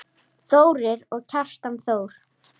Þórir og Kjartan Þór.